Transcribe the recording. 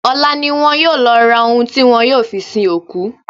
Ọ̀la ni wọn yóò lọ ra ohun tí wọ́n yóò fi sin òkú.